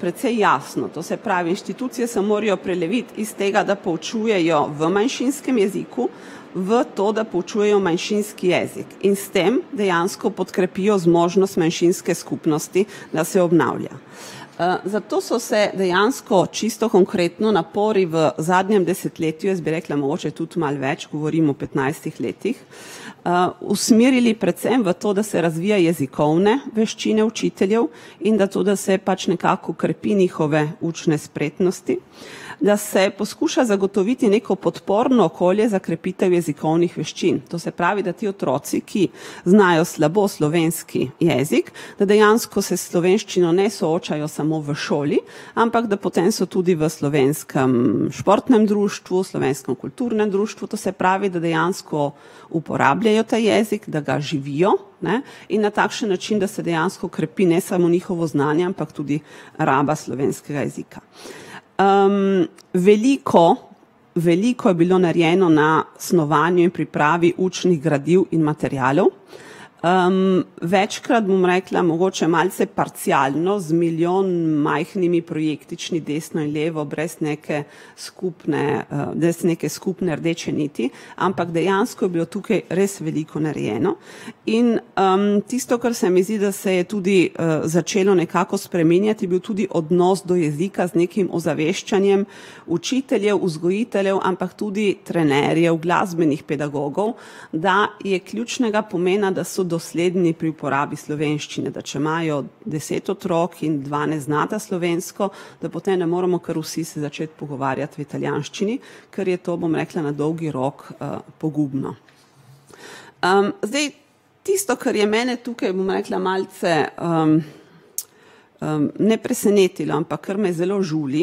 precej jasno, to se pravi inštitucije se morajo preleviti iz tega, da poučujejo v manjšinskem jeziku, v to, da poučujejo manjšinski jezik in s tem dejansko podkrepijo zmožnost manjšinske skupnosti, da se obnavlja. zato so se dejansko čisto konkretno napori v zadnjem desetletju, jaz bi rekla mogoče tudi malo več, govorim o petnajstih letih, usmerili predvsem v to, da se razvija jezikovne veščine učiteljev, in da to, da se pač nekako krepi njihove učne spretnosti. Da se poskuša zagotoviti neko podporno okolje za krepitev jezikovnih veščin. To se pravi, da ti otroci, ki znajo slabo slovenski jezik, da dejansko se s slovenščino ne soočajo samo v šoli, ampak da potem so tudi v slovenskem športnem društvu, slovenskem kulturnem društvu, to se pravi, da dejansko uporabljajo ta jezik, da ga živijo, ne. In na takšen način, da se dejansko krepi ne samo njihovo znanje, ampak tudi raba slovenskega jezika. veliko, veliko je bilo narejeno na snovanju in pripravi učnih gradiv in materialov. večkrat, bom rekla, mogoče malce parcialno z milijon majhnimi projektični desno in levo brez neke skupne, brez neke skupne rdeče niti. Ampak dejansko je bilo tukaj res veliko narejeno in, tisto, kar se mi zdi, da se je tudi, začelo nekako spreminjati, je bil tudi odnos do jezika z nekim ozaveščanjem učiteljev, vzgojiteljev, ampak tudi trenerjev, glasbenih pedagogov, da je ključnega pomena, da so dosledni pri uporabi slovenščine. Da če imajo deset otrok in dva ne znata slovensko, da potem ne moremo, kar vsi se začeti pogovarjati v italijanščini, ker je to, bom rekla, na dolgi rok, pogubno. zdaj tisto, kar je mene tukaj, bom rekla, malce, ne presenetilo, ampak kar me zelo žuli,